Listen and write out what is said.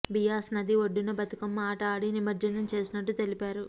బియాస్ నది ఒడ్డున బతుకమ్మ ఆట ఆడి నిమజ్జనం చేసినట్టు తెలిపారు